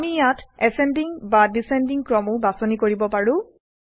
আমি ইয়াত বৰ্ধমান বা হ্ৰাসমান ক্ৰমো বাছনি কৰিব পাৰোঁ